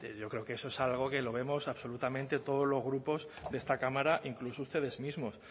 yo creo que eso es algo que lo vemos absolutamente todos los grupos de esta cámara incluso ustedes mismos